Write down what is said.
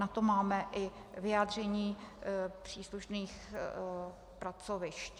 Na to máme i vyjádření příslušných pracovišť.